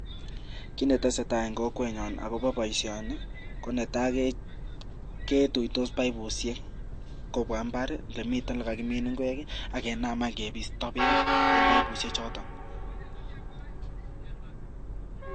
Kiit ne tesetai eng kokwenyon akobo boisioni, ko netai, ketuitos paipushek kobwa imbaar lemiten le kakimiin ingwek akenam any kepisto beek eng paipushek choto.